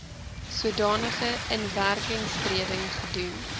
sodanige inwerkingtreding gedoen